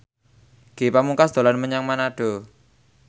Ge Pamungkas dolan menyang Manado